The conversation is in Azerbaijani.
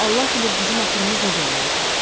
Yoxsa Allah bilir bizim axırımız necə olardı.